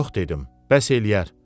Yox dedim, bəs eləyər.